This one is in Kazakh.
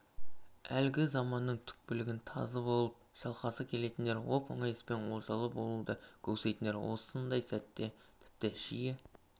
әлгі заманның түлкілігін тазы болып шалғысы келетіндер оп-оңай іспен олжалы болуды көксейтіндер осындай сәттерде тіпті жиі